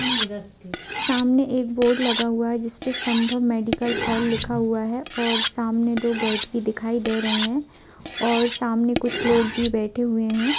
सामने एक बोर्ड लगा हुआ है। जिस पर संभव मेडिकल हाॅल लिखा हुआ है और सामने दो गेट भी दिखाई दे रहे हैं और सामने कुछ लोग भी बैठे हुए हैं।